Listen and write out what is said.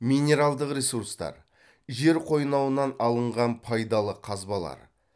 минералдық ресурстар жер қойнауынан алынған пайдалы қазбалар